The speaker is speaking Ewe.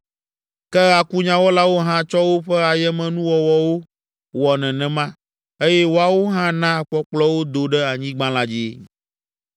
Ke akunyawɔlawo hã tsɔ woƒe ayemenuwɔwɔwo wɔ nenema, eye woawo hã na akpɔkplɔwo do ɖe anyigba la dzi.